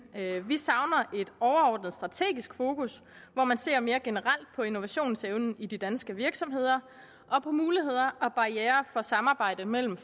vi savner et overordnet strategisk fokus hvor man ser mere generelt på innovationsevnen i de danske virksomheder og på muligheder og barrierer for samarbejde mellem